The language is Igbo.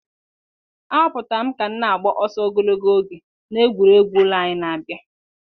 A họpụtara m ka m na-agba ọsọ ogologo oge na egwuregwu ụlọ anyị na-abịa.